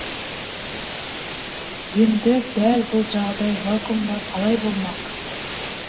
енді дәл бұл жағдай вакуумда қалай болмақ